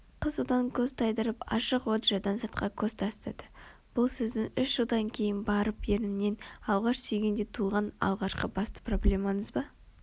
Қыз одан көзін тайдырып ашық лоджиядан сыртқа көз тастады бұл сіздің үш жылдан кейін барып ернімнен алғаш сүйгенде туған алғашқы басты проблемаңыз ба